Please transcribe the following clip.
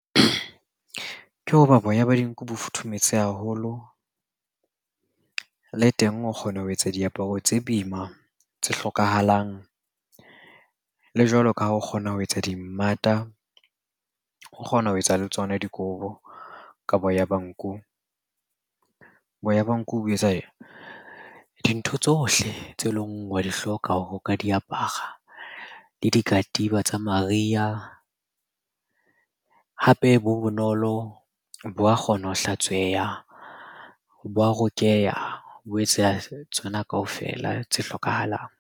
Ke hoba boya ba dinku bo futhumetse haholo. Le teng o kgona ho etsa diaparo tse boima, tse hlokahalang, le jwalo ka ha o kgona ho etsa dimmata, o kgona ho etsa le tsona dikobo ka boya ba nku. Boya ba nku bo etsa dintho tsohle tse leng wa di hloka ho ka di apara, le di ka katiba tsa mariha. Hape bo bonolo, bo a kgona ho hlatsweha, bo a rokeya, bo etsa tsona kaofela tse hlokahalang.